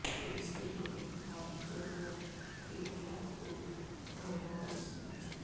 police نے دونوں ہاتھ جوڑ کر کئی افراد کو گھر واپس بھیج دیا